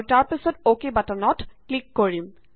আৰু তাৰ পাছত অকে বাটনত কৰিম